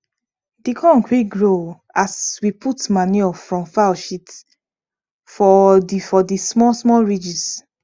di corn quick grow as we put manure from fowl shit for the for the small small ridges